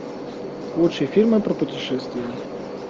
лучшие фильмы про путешествия